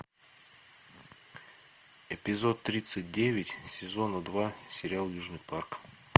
эпизод тридцать девять сезона два сериал южный парк